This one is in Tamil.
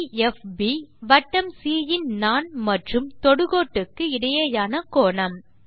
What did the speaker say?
∠DFB வட்டம் சி யின் நாண் மற்றும் தொடுகோட்டுக்கு இடையேயான கோணம்